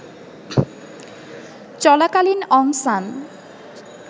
চলাকালীন অং সান